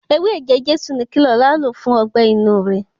Ewé ẹ̀jẹ Jésù ni kí Lọlá lò fún ọgbẹ́-inú rẹ̀.